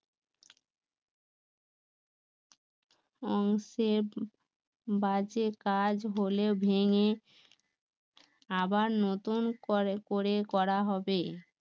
অংশে বাজে কাজ হলেও ভেঙে আবার নতুন করে করে করা হবে